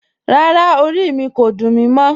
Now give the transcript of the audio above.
Rárá, orí mi kò dún mí mọ̀